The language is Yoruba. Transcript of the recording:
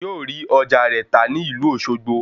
Yóò rí ọjà rẹ̀ tà ní ìlú Òṣogbo